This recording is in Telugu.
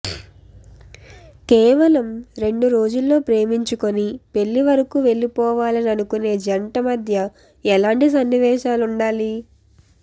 కేవలం రెండు రోజుల్లో ప్రేమించుకుని పెళ్లి వరకు వెళ్లిపోవాలని అనుకునే జంట మధ్య ఎలాంటి సన్నివేశాలుండాలి